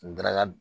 Daraka